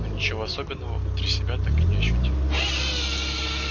но ничего особенного внутри себя так и не ощутил